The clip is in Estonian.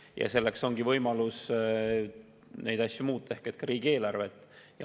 Ja selleks ongi võimalus teatud asju muuta, ka riigieelarvet.